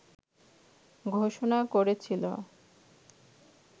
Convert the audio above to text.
ঘোষণা করেছিল